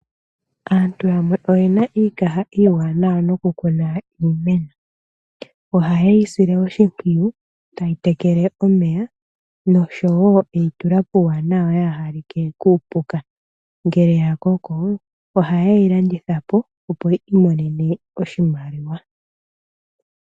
Aantu yamwe oye na iikaha iiwanawa nokukuna iimeno. Ohaye yi sile oshimpwiyu taye yi tekele omeya nosho wo okuyi tula puuwanwa yaa ha like kuupuka. Ngele ya koko ohaye yi landitha po, opo yi imonene oshimaliwa.